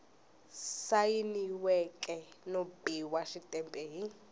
sayiniweke no biwa xitempe hi